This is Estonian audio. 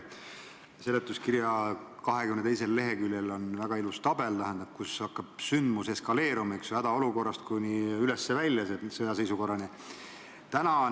Seletuskirja 22. leheküljel on väga ilus joonis, kuidas sündmus eskaleerub hädaolukorrast kuni üles välja ehk siis sõjaseisukorrani.